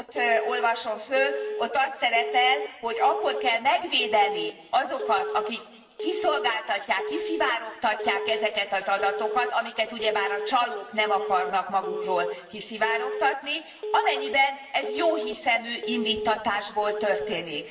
pontot olvasom föl, ott az szerepel, hogy akkor kell megvédeni azokat, akik kiszolgáltatják, kiszivárogtatják ezeket az adatokat amiket ugyebár a csalók nem akarnak magukról kiszivárogtatni amennyiben ez jóhiszemű indíttatásból történik.